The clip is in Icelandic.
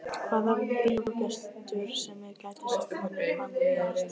Hvaða bíógestur sem er gæti sagt manni hvað nú gerist.